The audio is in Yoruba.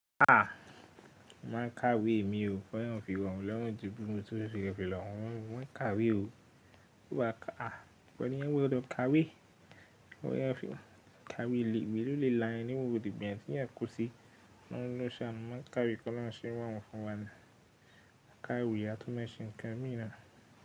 A! Màá kàwé mi o, k'ọlọrun fi rọ̀mí lọ́rùn ju bí o se fi rọ̀mí lọrùn tí ó fi rẹ́ fi lọ́hùn, màá kàwé o. Kí wà á kà, a! Fọ̀yán wí pé lọ kàwé, fọ̀yán kàwé, ìwé ló lè la ẹni mọ́, òdì gbẹ̀yìn tí ẹ kú sí lọ́wọ́ lọ́ṣàánu, màá kàwé kí Ọlọ́run ṣe wá̀hàn fún wa ni. A kàwé ìwé atúnmọ̀ṣìn kan mìíràn.